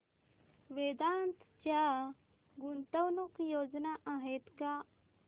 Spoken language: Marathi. वेदांत च्या गुंतवणूक योजना आहेत का